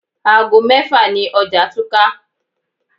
Aago mẹ́fà ni ọjà túká.